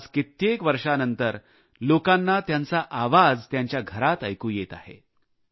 आज कित्येक वर्षांनंतर लोकांना त्यांचा आवाज त्यांच्या घरात ऐकू येत आहे